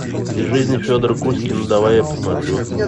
из жизни федора кузькина давай я посмотрю